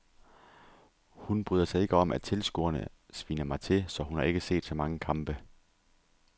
Hun bryder sig ikke om at tilskuerne sviner mig til, så hun har ikke set så mange kampe.